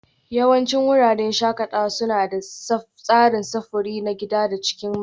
Yawancin wuraren shakatawa suna da tsarin sufuri na gida a cikin mahalli